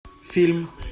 фильм